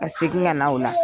Ka segin ka na o la.